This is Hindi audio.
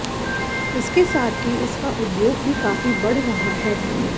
इसके साथ ही इसका उद्योग भी काफी बढ़ रहा है